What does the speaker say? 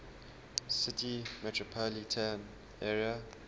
city metropolitan area